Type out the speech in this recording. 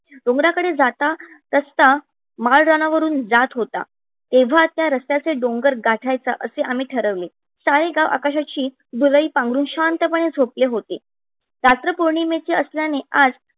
डोंगरा कडे जात असता रस्ता माळ राणा वरून जात होता. तेव्हाच त्या रस्त्याचे डोंगर गाठ्याचे अस आम्ही ठरवले. सारे गाव आकाशची धूलई पांघरून शांतपणे झोपले होते. रात्र पोर्णीमेची असल्याने आज